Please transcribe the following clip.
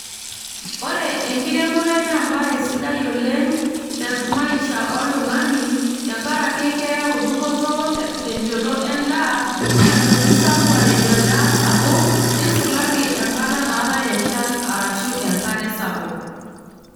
Ore enkiremore na ebae sidai oleng' temaisha oltung'ani, tenkaraki keyau dupoto tenchoto endaa, neyau enkisambuare tendaa sapuk, nisulaki enkata naatae enchan arashu enkare sapuk.